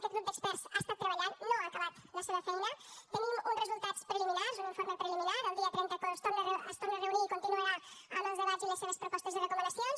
aquest grup d’experts ha estat treballant no ha acabat la seva feina tenim uns resultats preliminars un informe preliminar el dia trenta es torna a reunir i continuarà amb els debats i les seves propostes i recomanacions